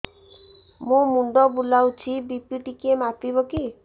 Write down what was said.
ମୋ ମୁଣ୍ଡ ବୁଲାଉଛି ବି.ପି ଟିକିଏ ମାପିବ କି